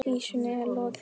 Vísunni er lokið.